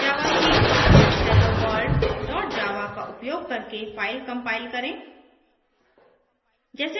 javac helloworld dot javaका उपयोग करके फ़ाइल compile करें